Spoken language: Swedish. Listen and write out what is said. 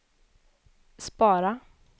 spara